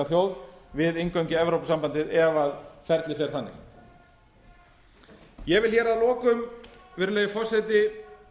þjóð við inngöngu í evrópusambandið ef ferlið fer þannig ég vil að lokum virðulegi forseti